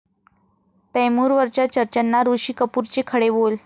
तैमूर'वरच्या चर्चांना ऋषी कपूरचे खडे बोल